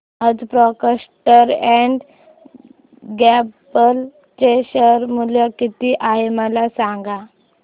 आज Procter and Gamble चे share मूल्य किती आहे मला सांगा